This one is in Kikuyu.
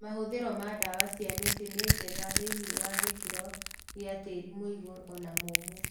Mahũthĩro ma ndawa cia mĩtĩ nĩ njega thĩinĩ wa gĩkĩro gĩa tĩri mũigũ ona mũmũ